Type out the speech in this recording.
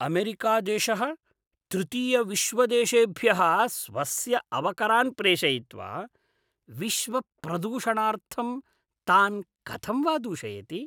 अमेरिकादेशः तृतीयविश्वदेशेभ्यः स्वस्य अवकरान् प्रेषयित्वा विश्वप्रदूषणार्थं तान् कथं वा दूषयति?